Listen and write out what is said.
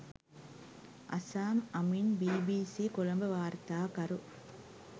Azzam Ameen BBC Colombo වාර්තාකරු